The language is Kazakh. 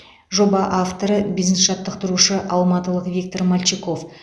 жоба авторы бизнес жаттықтырушы алматылық виктор мальчиков